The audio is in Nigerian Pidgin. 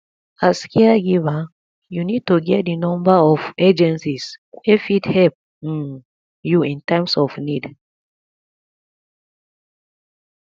as caregiver you need to get di number of agencies wey fit help um you in times of need